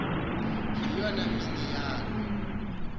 yiyona mini yaloo